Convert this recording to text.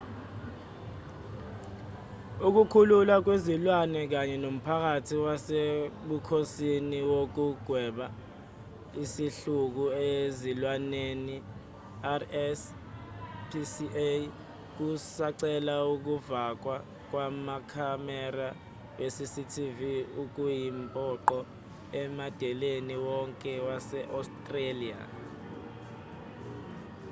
ukukhululwa kwezilwane kanye nomphakathi wasebukhosini wokugwema isihluku ezilwaneni rspca kusacela ukufakwa kwamakhamera we-cctv okuyimpoqo emadeleni wonke wase-australia